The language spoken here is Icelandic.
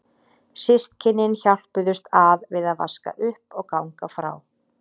Systkynin hjálpuðust að við að vaska upp og ganga frá.